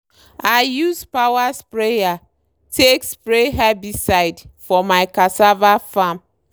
i use power sprayer take spray herbicide for my cassava farm.